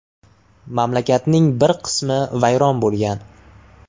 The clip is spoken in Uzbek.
Mamlakatning bir qismi vayron bo‘lgan.